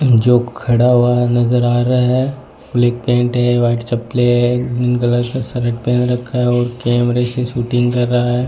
जो खड़ा हुआ नजर आ रहा है ब्लैक पेंट है व्हाइट चप्पलें है ग्रीन कलर का शर्ट पहन रखा है कैमरे से शूटिंग कर रहा है।